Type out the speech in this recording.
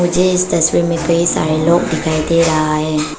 मुझे इस तस्वीर में कई सारे लोग दिखाई दे रहा है।